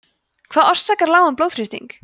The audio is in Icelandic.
hvað orsakar lágan blóðþrýsting